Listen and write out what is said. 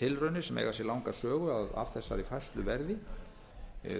tilraunir sem eiga sér langa sögu að af þessari færslu verði